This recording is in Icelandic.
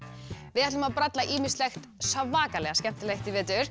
við ætlum að bralla ýmislegt svakalega skemmtilegt í vetur